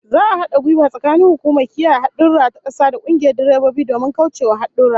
Za'a hada gwiwa tsakanin hukumar kiyaye hadurra ta kasa da kungiyar direbobi domin kaucewa hadurra